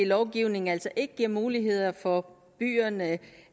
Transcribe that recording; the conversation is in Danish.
lovgivning altså ikke mulighed for byerne